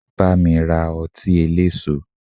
Bámi ra ọtí eléso!